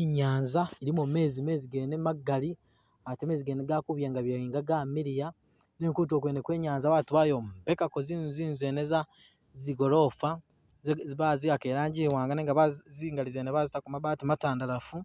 I'nyaanza ilimo meezi, meezi gene magali ate meeze gene gali kubyengabyenga gamiliya. Nenga kutulo kwene kwe i'nyaanza batu bayombekako zinzu, zinzu zene za zigolofa ze baziwaka i'langi iwaanga nenga bazi zingali zene bazitako mabati matandalaafu